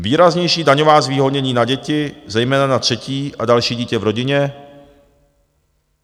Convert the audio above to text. Výraznější daňová zvýhodnění na děti, zejména na třetí a další dítě v rodině.